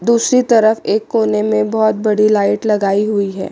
दूसरी तरफ एक कोने में बहोत बड़ी लाइट लगायी हुई है।